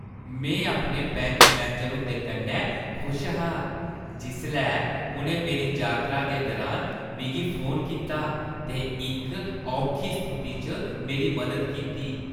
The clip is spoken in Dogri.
में अपने बैंक मैनेजर हुंदे कन्नै खुश हा जिसलै उʼनें मेरी यात्रा दे दुरान मिगी फोन कीता ते इक औखी स्थिति च मेरी मदद कीती।